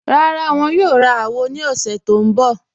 Rárá, wọn yóò rá àwọn àwò ni ọ̀ṣẹ̀ tó nbọ̀.